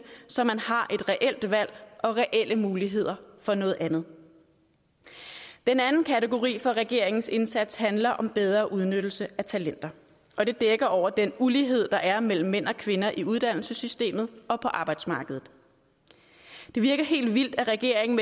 så man har et reelt valg og reelle muligheder for noget andet den anden kategori for regeringens indsats handler om bedre udnyttelse af talenter og det dækker over den ulighed der er mellem mænd og kvinder i uddannelsessystemet og på arbejdsmarkedet det virker helt vildt at regeringen